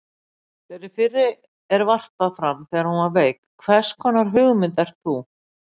Þeirri fyrri er varpað fram þegar hún er veik: HVERS KONAR HUGMYND ERT ÞÚ?